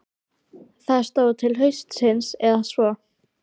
Það stóð til haustsins eða svo.